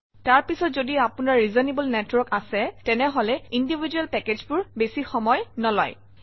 তাৰ পিছত যদি আপোনাৰ ৰিজনেবল নেটৱৰ্ক আছে তেনেহলে ইণ্ডিভিজুৱেল পেকেজবোৰে বেছি সময় নলয়